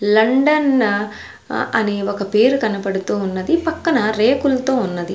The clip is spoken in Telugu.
లండన్ న అనే ఒక పేరు కనపడుతూ ఉన్నది పక్కన రేకులతో ఉన్నది.